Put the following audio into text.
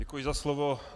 Děkuji za slovo.